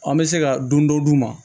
An bɛ se ka dun dɔ d'u ma